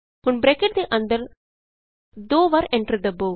ਹੁਣ ਬਰੈਕਟ ਦੇ ਅੰਦਰ ਦੋ ਵਾਰੀ ਐਂਟਰ ਦਬੋ